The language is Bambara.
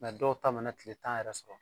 Nka dɔw ta mana tile tan yɛrɛ sɔrɔ